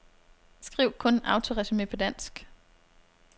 Skriv kun autoresumé på dansk.